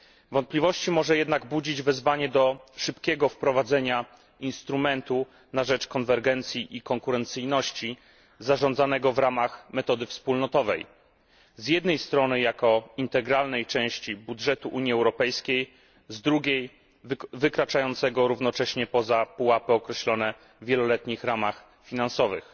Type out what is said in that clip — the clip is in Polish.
Wątpliwości może jednak budzić wezwanie do szybkiego wprowadzenia instrumentu na rzecz konwergencji i konkurencyjności zarządzanego w ramach metody wspólnotowej, z jednej strony jako integralnej części budżetu Unii Europejskiej, z drugiej wykraczającego równocześnie poza pułapy określone w wieloletnich ramach finansowych.